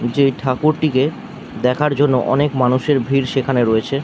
যে ঠাকুরটিকে দেখার জন্য অনেক মানুষের ভিড় সেখানে রয়েছে।